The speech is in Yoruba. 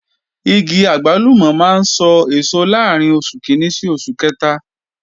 Igi àgbálùmọ̀ máa ń sọ èso láàrín oṣù kìíní sí oṣù kẹta